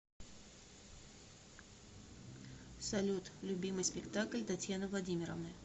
салют любимый спектакль татьяны владимировны